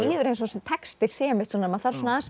líður eins og þessi texti sé maður þarf svona aðeins